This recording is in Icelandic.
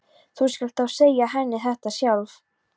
Þú skalt þá segja henni þetta sjálf!